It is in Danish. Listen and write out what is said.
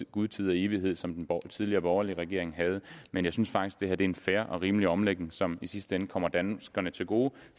gud tid og evighed ligesom den tidligere borgerlige regering havde men jeg synes faktisk det her er en fair og rimelig omlægning som i sidste ende kommer danskerne til gode